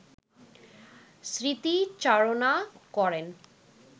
স্মৃতিচারণা করেন